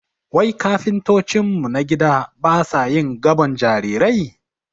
Wai kafintocin mu na gida basa yin gabon jarirai?